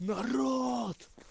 народ